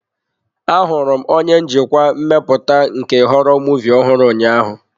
Ahụrụ m onye njikwa mmepụta nke họrọ muvịị ọhụrụ ụnyaahụ.